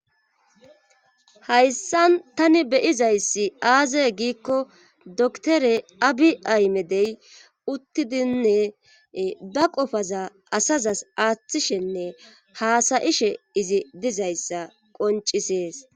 Hayssan tani beyizayssi aaze giikko doktore abi aymedey uttidinne ba qofaza asazas aaththishenne haasayishe izi dizayssa qoncisees